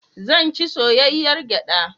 Zan ci soyayyar gyaɗa.